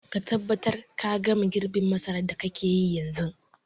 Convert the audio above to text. Ka tabbatar ka gama girbin masarar da kake yi yanzun.